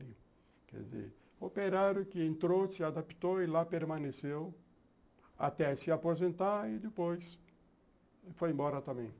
Quer dizer, operário que entrou, se adaptou e lá permaneceu até se aposentar e depois foi embora também.